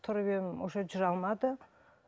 тұрып едім уже жүре алмады